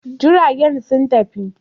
Jiragen sun tafi.